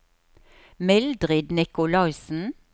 Mildrid Nikolaisen